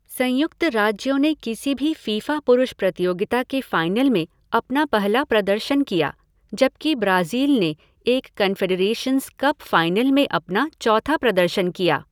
संयुक्त राज्यों ने किसी भी फ़ीफ़ा पुरुष प्रतियोगिता के फ़ाइनल में अपना पहला प्रदर्शन किया, जबकि ब्राज़ील ने एक कन्फ़ेडरेशन्स कप फ़ाइनल में अपना चौथा प्रदर्शन किया।